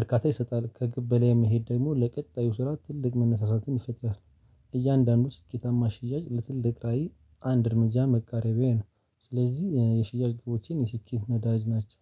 እርካታ ይሰጣል። ከግብ በላይ መሄድ ደግሞ ለቀጣዩ ስራ ትልቅ መነሳሳትን ይፈጥራል። እያንዳንዱ ስኬታማ ሽያጭ ለትልቅ ራዕይ አንድ እርምጃ መቃረቢያዬ ነው። ስለዚህ የሽያጭ ግቦቼን የስኬት ነዳጅ ናቸው